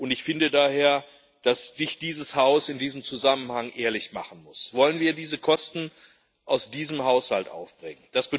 Und ich finde daher, dass dieses Haus in diesem Zusammenhang ehrlich sein muss Wollen wir diese Kosten aus diesem Haushalt aufbringen?